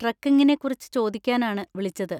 ട്രെക്കിംഗിനെ കുറിച്ച് ചോദിക്കാനാണ് വിളിച്ചത്.